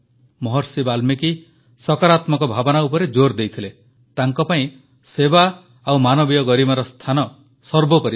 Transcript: ମହର୍ଷି ବାଲ୍ମୀକି ସକାରାତ୍ମକ ଭାବନା ଉପରେ ଜୋର୍ ଦେଇଥିଲେ ତାଙ୍କ ପାଇଁ ସେବା ଓ ମାନବୀୟ ଗରିମାର ସ୍ଥାନ ସର୍ବୋପରି ଥିଲା